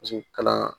Paseke kalan